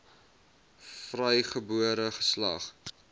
vrygebore geslag